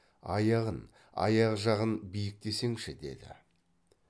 аяғын аяқ жағын биіктесеңші деді